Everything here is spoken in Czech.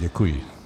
Děkuji.